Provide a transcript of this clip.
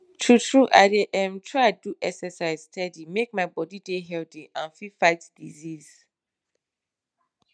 true true i dey erm try do exercise steady make my bodi dey healthy and fit fight disease